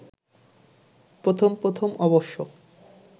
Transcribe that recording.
প্রথম প্রথম অবশ্য